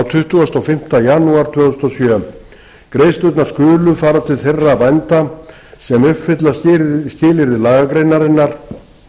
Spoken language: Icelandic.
tuttugasta og fimmta janúar tvö þúsund og sjö greiðslurnar skulu fara til þeirra bænda sem uppfylla skilyrði lagagreinarinnar